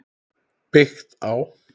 Byggt á